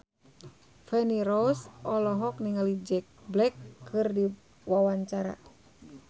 Feni Rose olohok ningali Jack Black keur diwawancara